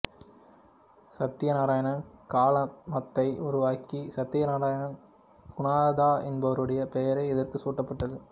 சத்தியநாராயண கலாதமத்தை உருவாக்கிய சத்தியநாராயண குநதா என்பவருடைய பெயரே இதற்கு சூட்டப்பட்டது